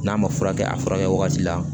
N'a ma furakɛ a furakɛ wagati la